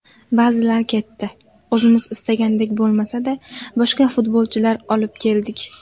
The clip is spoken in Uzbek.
Ba’zilar ketdi, o‘zimiz istagandek bo‘lmasada boshqa futbolchilar olib keldik.